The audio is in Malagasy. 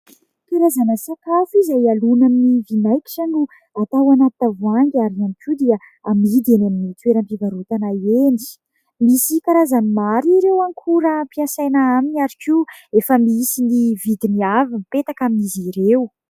Karazana sakafo izay alona amin'ny vinaigitra no atao anaty tavoahangy ary ihany koa dia amidy eny amin'ny toeram-pivarotana eny. Misy karazany maro ireo akora ampiasaina aminy ary koa efa misy ny vidiny avy mipetaka amin'izy ireo.